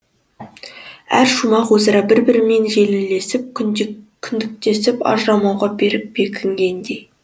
әр шумақ өзара бір бірімен желілесіп кіндіктесіп ажырамауға берік бекінгендей